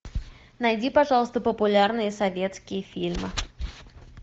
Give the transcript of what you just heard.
найди пожалуйста популярные советские фильмы